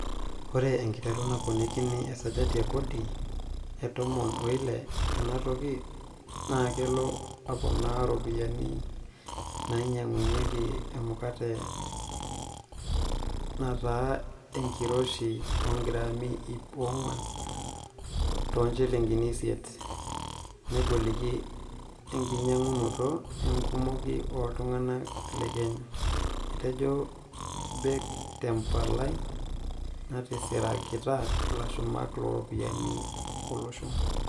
" Ore enkiteru naponikini esajati e kodi e tomon oile tenatoki naakeloo aponaa ropiyiani naanyiangunyiaki emukate naata enkiroshi ogrami iip onguan too njilingini isiet, negoliki enkinyangunoto enkumoki ooltunganak le Kenya," etejo Bake te mpalai natisirakita ilashumak looropiyiani olosho.